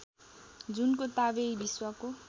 Junko Tabei विश्वको